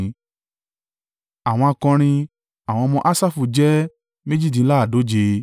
Àwọn akọrin. Àwọn ọmọ Asafu jẹ́ méjìdínláàádóje (128).